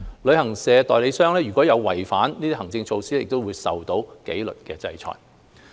旅行代理商如違反這些行政措施，會受到紀律制裁。